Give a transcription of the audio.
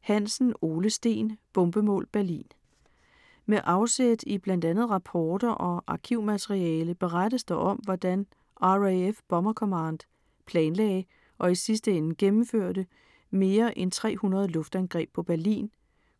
Hansen, Ole Steen: Bombemål Berlin Med afsæt i bl.a. rapporter og arkivmateriale berettes der om, hvordan RAF Bomber Command planlagde og i sidste ende gennemførte mere end 300 luftangreb på Berlin,